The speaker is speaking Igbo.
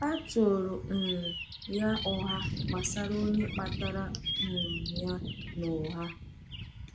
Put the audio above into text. A tụrụ um ya ụgha gbasara onye kpatara um ya n’ụgha.